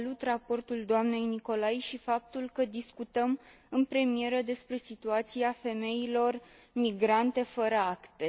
Salut raportul doamnei Nicolai și faptul că discutăm în premieră despre situația femeilor migrante fără acte.